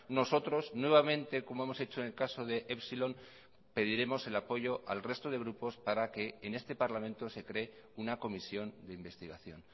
nosotros nuevamente como hemos hecho en el caso de epsilon pediremos el apoyo al resto de grupos para que en este parlamento se cree una comisión de investigación